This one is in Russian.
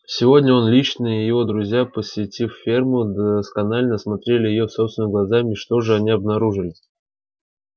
сегодня он лично и его друзья посетив ферму досконально осмотрели её собственными глазами и что же они обнаружили